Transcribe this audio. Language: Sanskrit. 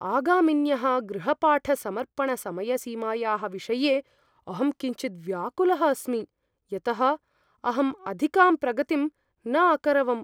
आगामिन्यः गृहपाठसमर्पणसमयसीमायाः विषये अहं किञ्चिद् व्याकुलः अस्मि, यतः अहम् अधिकां प्रगतिं न अकरवम्।